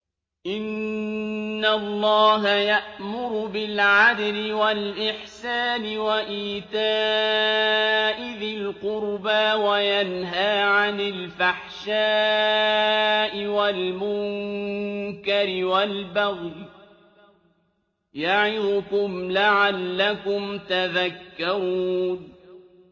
۞ إِنَّ اللَّهَ يَأْمُرُ بِالْعَدْلِ وَالْإِحْسَانِ وَإِيتَاءِ ذِي الْقُرْبَىٰ وَيَنْهَىٰ عَنِ الْفَحْشَاءِ وَالْمُنكَرِ وَالْبَغْيِ ۚ يَعِظُكُمْ لَعَلَّكُمْ تَذَكَّرُونَ